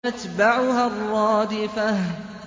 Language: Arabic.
تَتْبَعُهَا الرَّادِفَةُ